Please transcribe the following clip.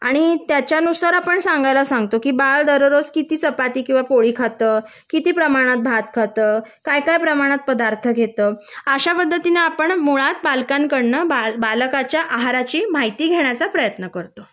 आणि त्याच्यानुसार सांगायला सांगतो की बाळ दररोज कीती चपाती किंवा पोळी खात कीती प्रमाणात भात खात काय काय प्रमाणात पदार्थ घेत आशा पद्धतीने आपण मुळात पालकांकडून बाळाच्या आहाराची माहिती घेतो ती घेण्याचा प्रयत्न करतो